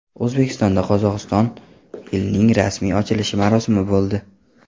O‘zbekistonda Qozog‘iston yilining rasmiy ochilish marosimi bo‘ldi.